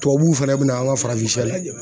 Tubabuw fɛnɛ bɛna an ka farafin sɛ lajɛ